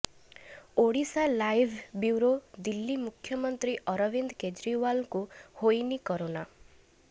Odisha live bureau Delhi ମୁଖ୍ୟମନ୍ତ୍ରୀ ଅରବିନ୍ଦ କେଜରିଓ୍ବାଲଙ୍କୁ ହୋଇନି କରୋନା